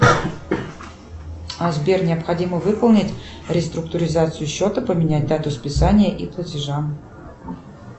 а сбер необходимо выполнить реструктуризацию счета поменять дату списания и платежа